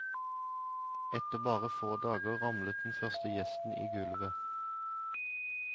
Etter bare få dager ramlet den første gjesten i gulvet.